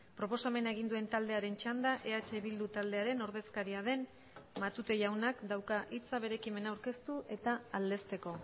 proposamena egin duen taldearen txanda eh bildu taldearen ordezkaria den matute jaunak dauka hitza bere ekimena aurkeztu eta aldezteko